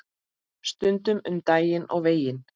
Stundum um daginn og veginn.